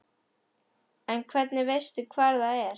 En hvernig veistu hvar það er?